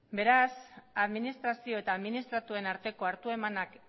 beraz administrazio eta administratuen arteko hartu emanak